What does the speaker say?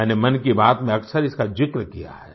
मैंने मन की बात में अक्सर इसका ज़िक्र किया है